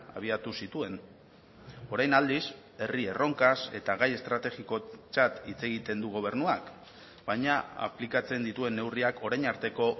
abiatu zituen orain aldiz herri erronkaz eta gai estrategikotzat hitz egiten du gobernuak baina aplikatzen dituen neurriak orain arteko